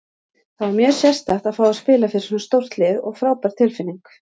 Það var mjög sérstakt að fá að spila fyrir svona stórt lið og frábær tilfinning.